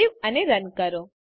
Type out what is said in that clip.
save અને run કરો